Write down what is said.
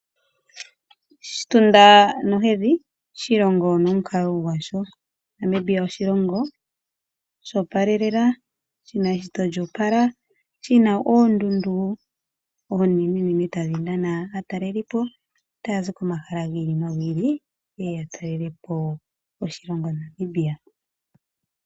Oshitunda nohedhi, oshilongo nomukalo gwasho. Namibia oshilongo sho opalelela, shina eshito lyo opala, shina oondundu oonenenene tadhi nana aataleli po taya zi komahala gi ili nogi ili yeye ya talele po oshilongo Namibia.